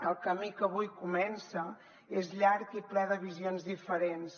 el camí que avui comença és llarg i ple de visions diferents